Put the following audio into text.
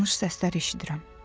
Danış səslər eşidirəm.